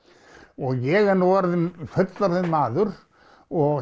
og ég er nú orðinn fullorðinn maður og